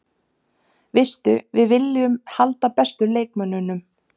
Veistu, við viljum halda bestu leikmönnunum.